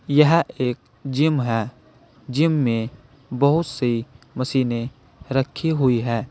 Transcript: यह एक जिम है जिम में बहुत सी मशीने रखी हुई है।